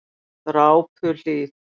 Drápuhlíð